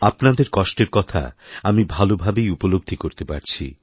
আপনাদের কষ্টের কথা আমি ভালো ভাবেই উপলব্ধি করতে পারছি